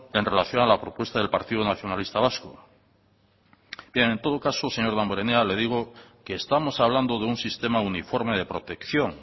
en relación a la propuesta del partido nacionalista vasco bien en todo caso señor damborenea le digo que estamos hablando de un sistema uniforme de protección